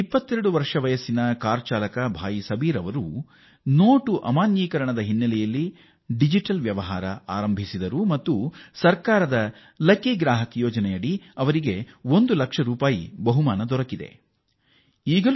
22 ವರ್ಷಗಳ ಕ್ಯಾಬ್ ಚಾಲಕ ಸೋದರ ದೆಹಲಿಯ ಸಬೀರ್ ಅವರು ನೋಟುಗಳ ರದ್ದತಿಯ ಬಳಿಕ ತಮ್ಮ ವಹಿವಾಟಿನಲ್ಲಿ ಡಿಜಿಟಲ್ ಮಾದರಿ ಅಳವಡಿಸಿಕೊಂಡಿದ್ದಾರೆ ಇದರಿಂದ ಸರ್ಕಾರದ ಲಕ್ಕಿ ಗ್ರಾಹಕ್ ಯೋಜನೆ ಅಡಿ ಅವರು ಒಂದು ಲಕ್ಷ ರೂಪಾಯಿ ಬಹುಮಾನ ಗೆಲ್ಲುವಂತಾಗಿದೆ